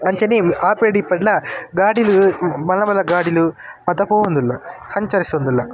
ಅಂಚನೆ ಆಪೆಡ್ ಈಪೆಡ್ಲ ಗಾಡಿಲ್ ಮಲ್ಲ ಮಲ್ಲ ಗಾಡಿಲ್ ಮಾತ ಪೋವೊಂದುಲ್ಲ ಸಂಚರಿಸೊಂದುಲ್ಲ .